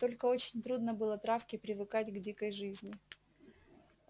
только очень трудно было травке привыкать к дикой жизни